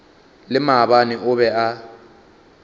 le maabane o be a